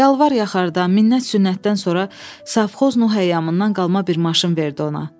Yalvar-yaxarda, minnət-sünnətdən sonra sovxoz Nuğayamından qalma bir maşın verdi ona.